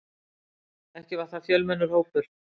Ekki var það fjölmennur hópur.